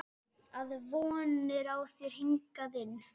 Að von er á þér hingað inn.